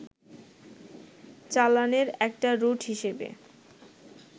চালানের একটা রুট হিসেবে